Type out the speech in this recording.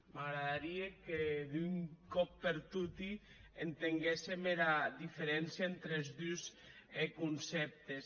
m’agradarie que d’un còp per toti entenguéssem era diferéncia entre es dus concèptes